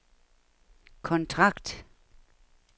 kontrakt